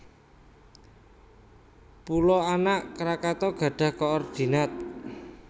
Pulo Anak Krakatau gadhah koordinat